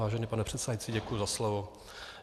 Vážený pane předsedající, děkuji za slovo.